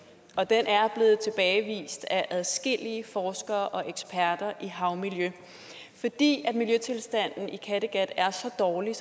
og den er blevet tilbagevist af adskillige forskere og eksperter i havmiljø fordi miljøtilstanden i kattegat er så dårlig